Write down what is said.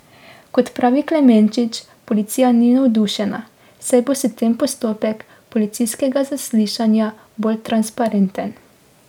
Kot pravi Klemenčič, policija ni navdušena, saj bo s tem postopek policijskega zaslišanja bolj transparenten.